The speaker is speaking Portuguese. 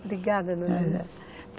Obrigada,